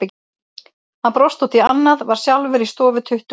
Hann brosti út í annað, var sjálfur í stofu tuttugu og tvö.